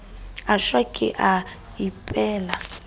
a shwa ke a ikepela